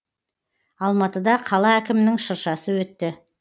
алматыда қала әкімінің шыршасы өтті